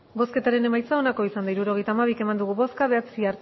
hirurogeita hamabi eman dugu bozka bederatzi